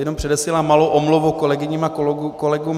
Jenom předesílám malou omluvu kolegyním a kolegům.